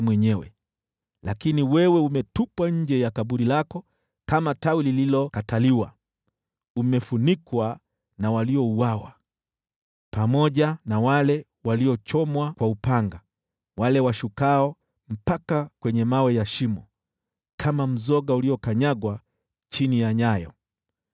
Lakini wewe umetupwa nje ya kaburi lako kama tawi lililokataliwa, umefunikwa na waliouawa pamoja na wale waliochomwa kwa upanga, wale washukao mpaka kwenye mawe ya shimo. Kama mzoga uliokanyagwa chini ya nyayo,